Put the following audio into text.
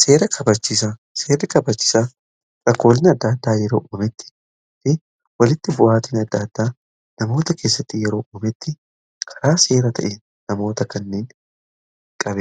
Seera kabachiisuu jechuun olaantummaan seeraa jiraachuu fi namni kamuu seeraa fi heera biratti wal qixa akka